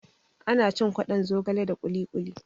Ana cin kwaɗon zogale da kuli kuli